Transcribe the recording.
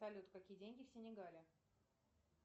салют какие деньги в синегале